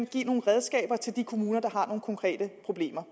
give nogle redskaber til de kommuner der har nogle konkrete problemer